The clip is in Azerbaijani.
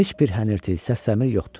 Heç bir hənirti, səsləmir yoxdu.